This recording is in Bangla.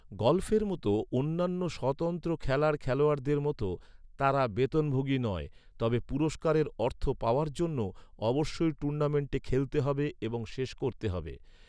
গল্ফের মতো অন্যান্য স্বতন্ত্র খেলার খেলোয়াড়দের মতো, তারা বেতনভোগী নয়, তবে পুরস্কারের অর্থ পাওয়ার জন্য অবশ্যই টুর্নামেন্টে খেলতে হবে এবং শেষ করতে হবে।